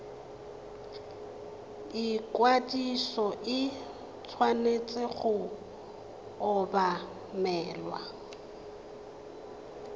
ikwadiso e tshwanetse go obamelwa